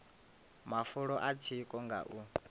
mafulo a tsiko nga u